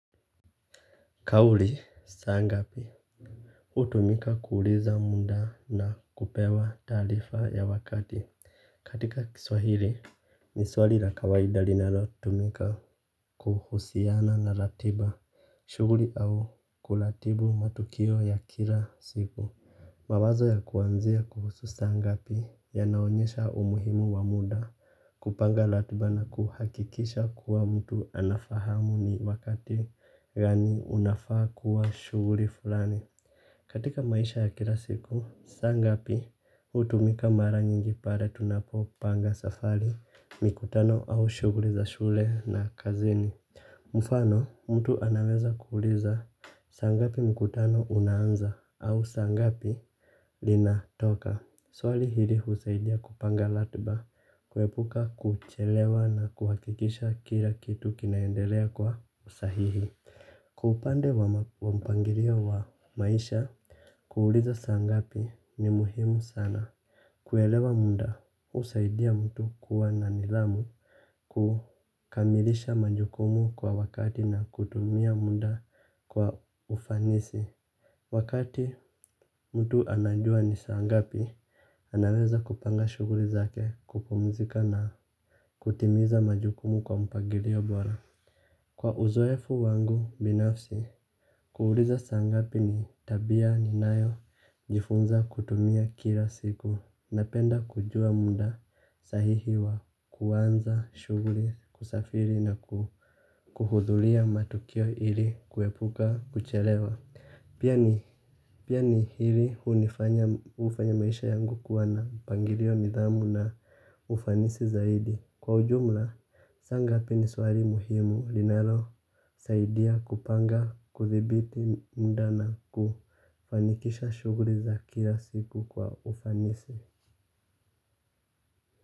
Kauli saa ngapi hutumika kuuliza muda na kupewa taarifa ya wakati. Katika kiswahili ni swali la kawaida linalotumika kuhusiana na ratiba, shughuli au kulratibu matukio ya kila siku. Mawazo ya kuanzia kuhusu saa ngapi yanaonyesha umuhimu wa muda. Kupanga ratiba na kuhakikisha kuwa mtu anafahamu ni wakati gani unafaa kuwa shughuli fulani. Katika maisha ya kila siku, saa ngapi hutumika mara nyingi pale tunapopanga safari, mikutano au shughuli za shule na kazini. Mfano, mtu anaweza kuuliza, "saa ngapi mkutano unaanza"? Au saa ngapi linatoka. Swali hili husaidia kupanga ratiba, kuepuka kuchelewa na kuhakikisha kila kitu kinaendelea kwa usahihi. Kwa upande wa mpangilio wa maisha, kuuliza saa ngapi ni muhimu sana. Kuelewa muda husaidia mtu kuwa na nidhamu, kukamilisha majukumu kwa wakati na kutumia muda kwa ufanisi. Wakati mtu anajua ni saa ngapi, anaweza kupanga shughuli zake kupumzika na kutimiza majukumu kwa mpangilio bora. Kwa uzoefu wangu binafsi, kuuliza saa ngapi ni tabia ninayojifunza kutumia kila siku. Napenda kujua muda sahihi wa kuanza shughuli, kusafiri na kuhudhuria matukio ili kuepuka kuchelewa. Pia ni hili hufanya maisha yangu kuwa na mpangilio nidhamu na ufanisi zaidi. Kwa ujumla, saangapibni swali muhimu linalosaidia kupanga, kudhibiti muda na kufanikisha shughuli za kila siku kwa ufanisi.